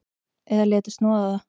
Eða léti snoða það.